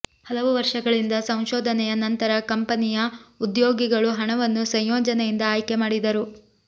ಹಲವು ವರ್ಷಗಳಿಂದ ಸಂಶೋಧನೆಯ ನಂತರ ಕಂಪನಿಯ ಉದ್ಯೋಗಿಗಳು ಹಣವನ್ನು ಸಂಯೋಜನೆಯಿಂದ ಆಯ್ಕೆ ಮಾಡಿದರು